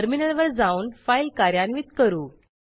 टर्मिनलवर जाऊन फाईल कार्यान्वित करू